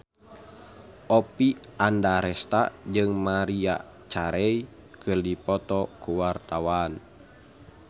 Oppie Andaresta jeung Maria Carey keur dipoto ku wartawan